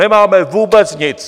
Nemáme vůbec nic!